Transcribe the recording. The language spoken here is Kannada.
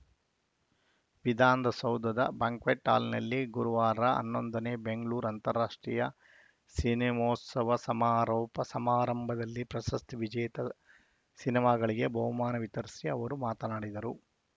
ವಿಧಾನದ ಸೌಧದ ಬ್ಯಾಂಕ್ವೆಟ್‌ ಹಾಲ್‌ನಲ್ಲಿ ಗುರುವಾರ ಹನ್ನೊಂದನೇ ಬೆಂಗಳೂರು ಅಂತಾರಾಷ್ಟ್ರೀಯ ಸಿನಿಮೋತ್ಸವ ಸಮಾರೋಪ ಸಮಾರಂಭದಲ್ಲಿ ಪ್ರಶಸ್ತಿ ವಿಜೇತ ಸಿನಿಮಾಗಳಿಗೆ ಬಹುಮಾನ ವಿತರಿಸಿ ಅವರು ಮಾತನಾಡಿದರು